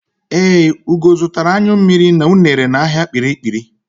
Ee, Ugo zụtara anyụ mmiri na unere n'ahịa Kpiri-kpiri.